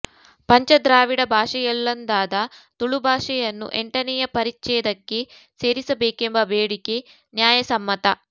ಪಂಚ ದ್ರಾವಿಡ ಭಾಷೆಯಲ್ಲೊಂದಾದ ತುಳುಭಾಷೆಯನ್ನು ಎಂಟನೆಯ ಪರಿಚ್ಛೇದಕ್ಕೆ ಸೇರಿಸ ಬೇಕೆಂಬ ಬೇಡಿಕೆ ನ್ಯಾಯ ಸಮ್ಮತ